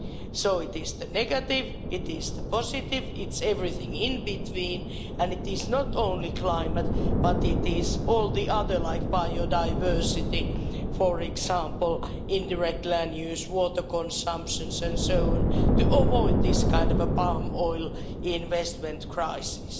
So it is the negative, it is the positive, it's everything in between, and it is not only climate but it is all the others, like biodiversity, for example, indirect land use, water consumption and so on, to avoid this kind of palm oil investment crisis.